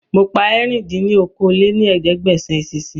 Mo pa ẹ̀rin dín ní okòó-lé-ní-ẹ̀ẹ́dẹ́gbẹ́sán eṣinṣin